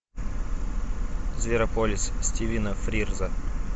зверополис стивена фрирза